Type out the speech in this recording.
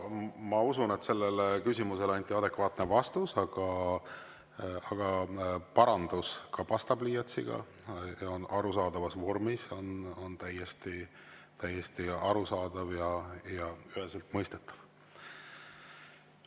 Ma usun, et sellele küsimusele anti adekvaatne vastus, aga kui parandus ka pastapliiatsiga ja on arusaadavas vormis, siis see on täiesti arusaadav ja üheselt mõistetav.